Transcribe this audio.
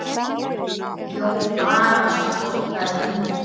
Jón Arason fórnaði höndum.